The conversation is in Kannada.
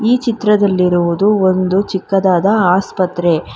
ಈ ಚಿತ್ರದಲ್ಲಿರುವುದು ಒಂದು ಚಿಕ್ಕದಾದ ಆಸ್ಪತ್ರೆ.